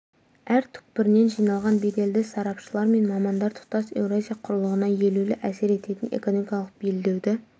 әр түкпірінен жиналған беделді сарапшылар мен мамандар тұтас еуразия құрлығына елеулі әсер ететін экономикалық белдеуді